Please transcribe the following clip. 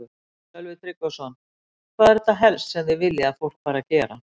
Sölvi Tryggvason: Hvað er þetta helst sem þið viljið að fólk fari að gera?